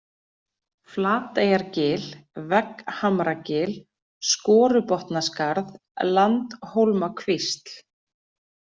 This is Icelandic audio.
Flateyjargil, Vegghamragil, Skorubotnaskarð, Landhólmakvísl